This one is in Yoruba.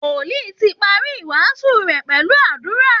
Wòlìí ti parí ìwàásù rẹ̀ pẹ̀lú àdúra